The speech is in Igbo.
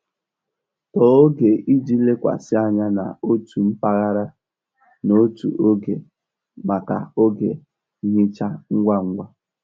Tọọ oge iji lekwasị anya n'otu mpaghara n'otu oge maka oge nhicha ngwa ngwa.